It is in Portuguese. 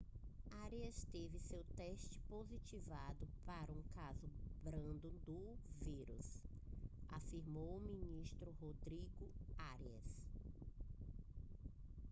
arias teve seu teste positivado para um caso brando do vírus afirmou o ministro rodrigo arias